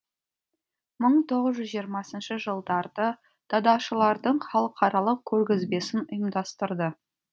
мың тоғыз жүз жиырмасыншы жылдарды дадашылардың халықаралық көргізбесін ұйымдастырды